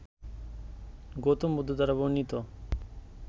গৌতম বুদ্ধ দ্বারা বর্ণিত